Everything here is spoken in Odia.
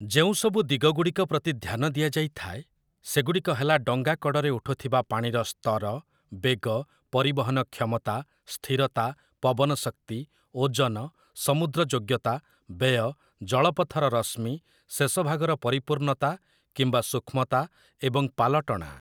ଯେଉଁସବୁ ଦିଗଗୁଡ଼ିକ ପ୍ରତି ଧ୍ୟାନ ଦିଆଯାଇଥାଏ, ସେଗୁଡ଼ିକ ହେଲା ଡଙ୍ଗାକଡ଼ରେ ଉଠୁଥିବା ପାଣିର ସ୍ତର, ବେଗ, ପରିବହନ କ୍ଷମତା, ସ୍ଥିରତା, ପବନ ଶକ୍ତି, ଓଜନ, ସମୁଦ୍ର ଯୋଗ୍ୟତା, ବ୍ୟୟ, ଜଳପଥର ରଶ୍ମି, ଶେଷଭାଗର ପରିପୂର୍ଣ୍ଣତା କିମ୍ବା ସୂକ୍ଷ୍ମତା ଏବଂ ପାଲଟଣା ।